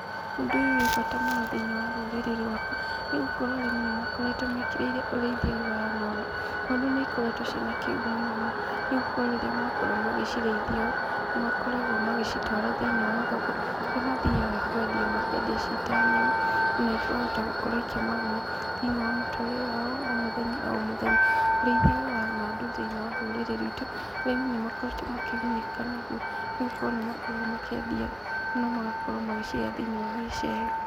Ũndũ ũyũ wĩ bata mũno thĩiniĩ wa rũrĩrĩ rwakwa, nĩgũkorwo arĩmi nĩmakoretwo mekĩrĩire ũrĩithia wa ngondu, ngondu nĩ cikoretwo cina kĩguni mũno, nĩgũkorwo rĩrĩa makorwo magĩcirĩithia makoragwo magĩcitwara thĩiniĩ wa thoko, kũrĩa mathiaga kwendia makendia cita nyama , na ikahota gũkorwo ikĩ maguna thĩiniĩ wa mũtũrĩre wao wa o mũthenya o mũthenya, ũrĩithia wa ngondu thĩiniĩ wa rũrĩrĩ rwitũ, arĩmi nĩmakoretwo makĩgunĩka naguo, nĩgũkorwo magakorwo makĩendia na magakorwo magĩcihe thĩiniĩ wa gĩcegũ.